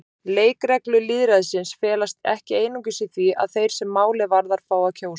Leikreglur lýðræðisins felast ekki einungis í því að þeir sem málið varðar fái að kjósa.